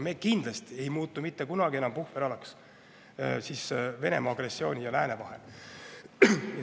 Me kindlasti ei muutu mitte kunagi enam puhveralaks Venemaa agressiooni ja lääne vahel.